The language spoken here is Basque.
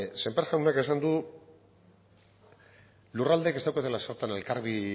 sémper jaunak esan du lurraldeek ez daukatela zertan